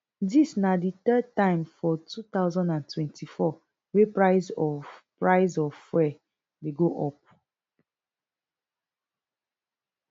dis na di third time for two thousand and twenty-four wey price of price of fuel dey go up